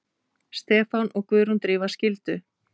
Stefán og Guðrún Drífa skildu.